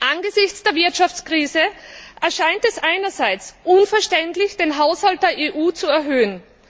Angesichts der Wirtschaftskrise erscheint es einerseits unverständlich, den Haushalt der EU zu erhöhen.